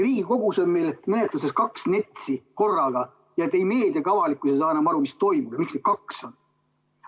Riigikogus on meil menetluses kaks NETS-i korraga, nii et ei meedia ega avalikkus ei saa enam aru, mis toimub ja miks neid kaks on.